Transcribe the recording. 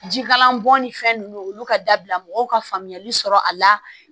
Jikalan bɔn ni fɛn nunnu olu ka dabila mɔgɔw ka faamuyali sɔrɔ a la